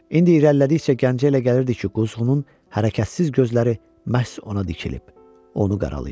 İndi irəlilədikcə Qazi elə gəlirdi ki, quzğunun hərəkətsiz gözləri məhz ona dikilib, onu qaralayıb.